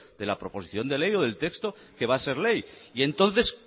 de la proposición de ley o del texto que va a ser ley y entonces